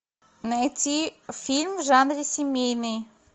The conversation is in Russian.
найти фильм в жанре семейный